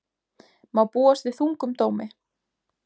Má búast við þungum dómi